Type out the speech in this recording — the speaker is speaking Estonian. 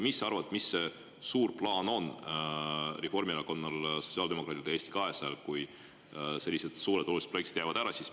Mis sa arvad, mis see suur plaan on Reformierakonnal, sotsiaaldemokraatidel ja Eesti 200‑l, kui sellised suured olulised projektid jäävad ära?